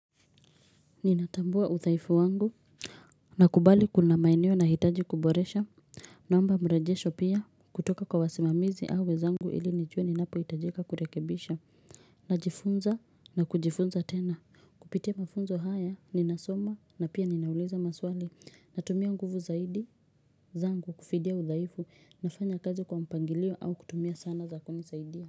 Ninatambua udhaifu wangu Nakubali kuna maeneo nahitaji kuboresha naomba mrejesho pia kutoka kwa wasimamizi au wenzangu ili nijue ninapohitajika kurekebisha Najifunza na kujifunza tena Kupitia mafunzo haya ninasoma na pia ninauliza maswali natumia nguvu zaidi zangu kufidia udhaifu nafanya kazi kwa mpangilio au kutumia sana za kunisaidia.